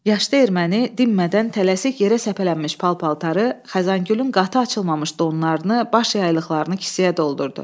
Yaşlı erməni dinmədən tələsik yerə səpələnmiş pal-paltarı, Xəzəngülün qatı açılmamış donlarını, baş yaylıqlarını kisəyə doldurdu.